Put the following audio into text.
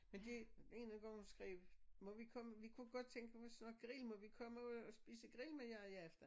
Men det en af gangene hun skrev må vi komme vi kunne godt tænke os at grille må vi komme og spise grill med jer i aften